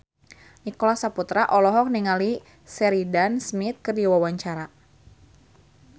Nicholas Saputra olohok ningali Sheridan Smith keur diwawancara